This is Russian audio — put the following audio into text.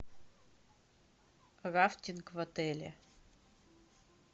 рафтинг в отеле